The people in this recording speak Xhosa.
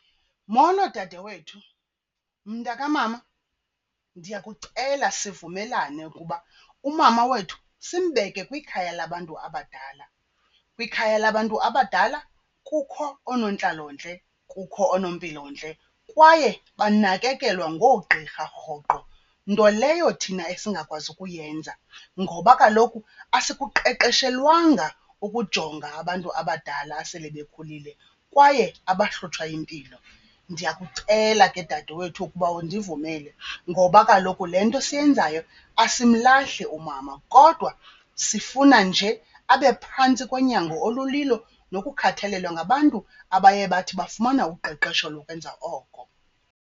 Molo dade wethu. Mntakamama, ndiyakucela sivumelane ukuba umama wethu simbeke kwikhaya labantu abadala. Kwikhaya labantu abadala kukho oonontlalontle, kukho oonompilontle kwaye banakekelwa ngoogqirha rhoqo, nto leyo thina esingakwazi ukuyenza ngoba kaloku asikuqeqeshelwanga ukujonga abantu abadala asele bekhulile kwaye abahlutshwa yimpilo. Ndiyakucela ke dadewethu ukuba undivumele ngoba kaloku le nto siyenzayo asimlahli umama kodwa sifuna nje abe phantsi konyango olulilo nokukhathalelwa ngabantu abaye bathi bafumana uqeqesho lokwenza oko.